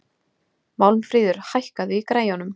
Málmfríður, hækkaðu í græjunum.